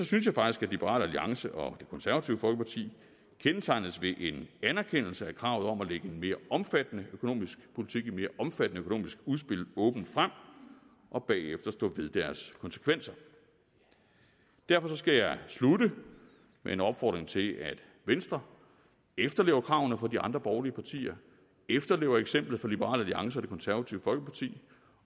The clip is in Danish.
synes jeg faktisk at liberal alliance og det konservative folkeparti kendetegnes ved en anerkendelse af kravet om at lægge en mere omfattende økonomisk politik et mere omfattende økonomisk udspil åbent frem og bagefter stå ved deres konsekvenser derfor skal jeg slutte med en opfordring til at venstre efterlever kravene fra de andre borgerlige partier efterlever eksemplet fra liberal alliance og det konservative folkeparti